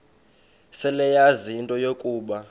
seleyazi into yokuba